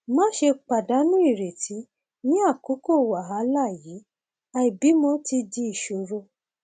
máṣe pàdánù ìrètí ní àkókò wàhálà yìí àìbímọ ti di ìṣòro